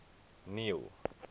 neil